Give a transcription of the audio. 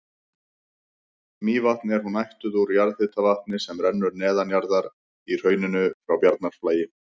Mývatn er hún ættuð úr jarðhitavatni sem rennur neðanjarðar í hrauninu frá Bjarnarflagi.